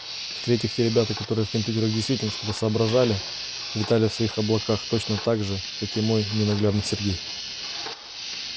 в-третьих те ребята которые в компьютерах действительно что-то соображали витали в своих облаках точно так же как и мой ненаглядный сергей